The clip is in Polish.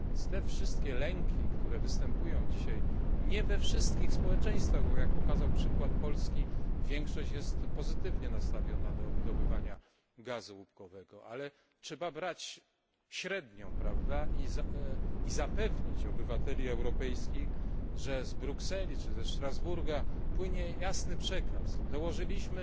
Uwzględnione więc zostały wszystkie lęki, które występują dzisiaj nie we wszystkich społeczeństwach, bo jak pokazał przykład Polski, większość jest pozytywnie nastawiona do wydobywania gazu łupkowego ale trzeba brać średnią i zapewnić obywateli europejskich, że z Brukseli czy ze Strasburga płynie jasny przekaz i dołożyliśmy